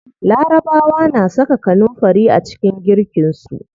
Larabawa na saka kanunfari a cikin girkin su.